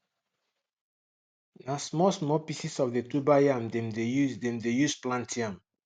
na small small pieces of the tuber dem de use dem de use plant yam